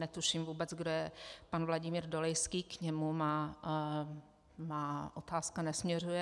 Netuším vůbec, kdo je pan Vladimír Dolejský, k němu má otázka nesměřuje.